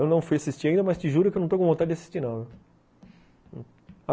Eu não fui assistir ainda, mas te juro que eu não estou com vontade de assistir, não.